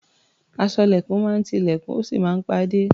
Aṣọ́lẹ̀kùn máa ń ti ilẹ̀kùn, ó sì máa ń pa á dé.